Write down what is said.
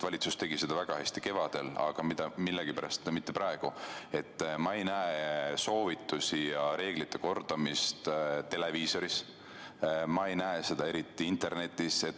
Valitsus tegi seda väga hästi kevadel, aga millegipärast mitte praegu: ma ei näe soovitusi ja reeglite kordamist televiisoris, ma ei näe seda eriti internetis.